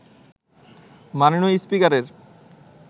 মাননীয় স্পিকারের